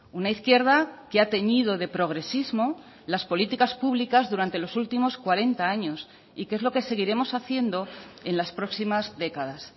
una izquierda que ha teñido de progresismo las políticas públicas durante los últimos cuarenta años y que es lo que seguiremos haciendo en las próximas décadas